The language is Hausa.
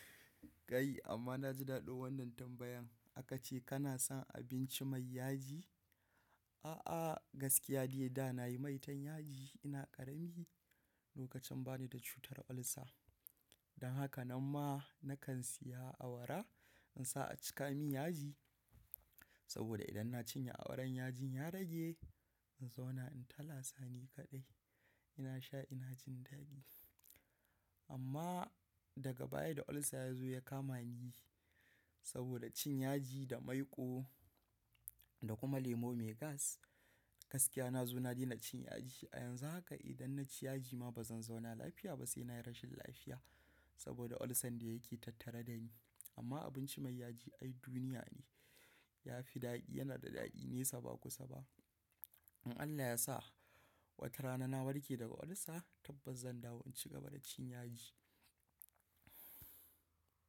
Kai amma na ji daɗin wannan tambayan. Aka ce kana son abinci mai yaji? A'a gaskiya dai da na yi maitan yaji ina ƙarami lokacin ba ni da cutar ulcer. Dan haka nan ma na kan siya awara in sa a cika min yaji. Saboda idan na cinye awaran yajin ya rage in zauna in talasa ni kaɗai. Ina sha ina jin daɗi. Amma daga baya da ulcer ya zo ya kama ni saboda cin yaji da maiƙo da kuma lemo mai gas gaskiya na zo na daina cin yaji. A yanzu haka idan na ci yaji ma ba zan zauna lafiya ba sai na yi rashin lafiya. Saboda ulcer ne yake tattare da ni. Amma abinci mai yaji ai duniya ne. Yafi daɗi yana da daɗi nesa ba kusa ba. In Allah ya sa watarana na warke daga ulcer tabbas zan dawo in cigaba da cin yaji.